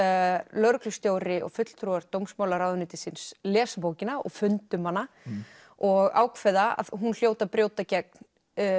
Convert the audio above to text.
lögreglustjóri og fulltrúar dómsmálaráðuneytisins lesa bókina og funda um hana og ákveða að hún hljóti að brjóta gegn